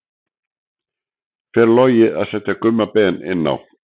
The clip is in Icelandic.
Fer Logi að setja Gumma Ben inn á?